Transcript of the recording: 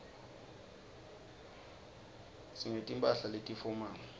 singeti mphahla leti fomali